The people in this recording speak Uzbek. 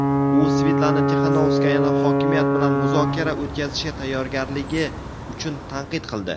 u Svetlana Tixanovskayani hokimiyat bilan muzokara o‘tkazishga tayyorgarligi uchun tanqid qildi.